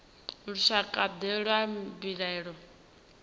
lushakade lwa mbilaelo dzine dza